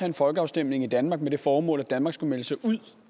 en folkeafstemning i danmark med det formål at danmark skulle melde sig ud